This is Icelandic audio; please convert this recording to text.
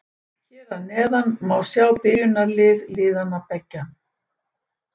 Hér að neðan má sjá byrjunarlið liðanna beggja.